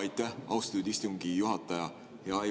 Aitäh, austatud istungi juhataja!